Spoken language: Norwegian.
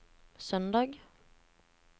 søndag